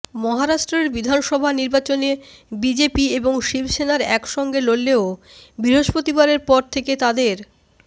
মহারাষ্ট্রের বিধানসভা নির্বাচনে বিজেপি এবং শিবসেনার একসঙ্গে লড়লেও বৃহস্পতিবারের পর থেকে তাদের